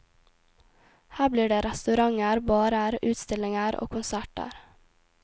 Her blir det restauranter, barer, utstillinger og konserter.